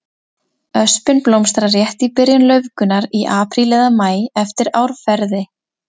Öspin blómstrar rétt í byrjun laufgunar, í apríl eða maí eftir árferði.